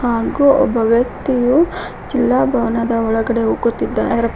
ಹಾಗು ಒಬ್ಬ ವ್ಯಕ್ತಿಯು ಜಿಲ್ಲಾ ಭವನದ ಒಳಗಡೆ ಹೋಗುತ್ತಿದ--